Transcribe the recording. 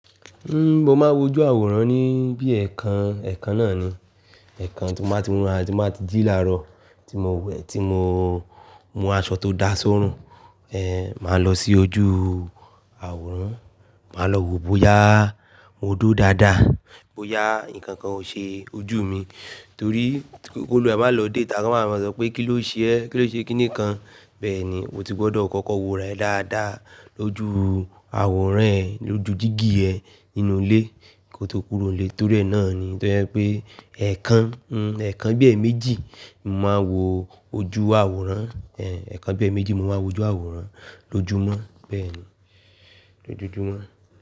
Ń, mo máa ń wojú àwòrán ní bí ẹ̀ẹ̀kan, ẹ̀ẹ̀kan náà ni. Ẹ̀ẹ̀kan tí mo ba ti mura, tí mo ba ti jí láàrọ̀, tí mo we tí mo mú aṣọ tó dá sóòórùn, ẹ, màá lọ sí ojú àwòrán, màá lọ wò bó yá mó duri dáadáa, bó yá nǹkan kan ó ṣe ojú mi. Torí, ki olu ẹ má lọ déta, kọ́ máa maa lo sọ pé "kí ló ṣe ẹ́? Kí ló ṣe kínìkan?" Bẹ́ẹ̀ ni, o ti gbọdọ̀ kọ́kọ́ wo re dáadáa lójú àwòrán ẹ, lójú dígí ẹ ninú ilé kí o tó kúrò ilé. Torí ẹ náà ni, torí ẹ pé ẹ̀ẹ̀kan, ń, ẹ̀ẹ̀kan bí i méjì mo máa ń wo ojú àwòrán, ẹ, ẹ̀ẹ̀kan bí i méjì mo máa ń wojú àwòrán lójúmọ́. Bẹ́ẹ̀ ni, lojojúmọ́.